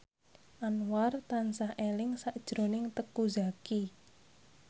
Anwar tansah eling sakjroning Teuku Zacky